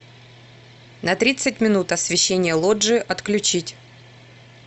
на тридцать минут освещение лоджии отключить